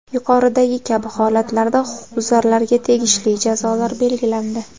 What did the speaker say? Yuqoridagi kabi holatlarda huquqbuzarlarga tegishli jazolar belgilandi.